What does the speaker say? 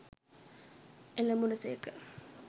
එළඹුණ සේක.